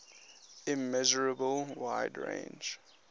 immeasurable wide range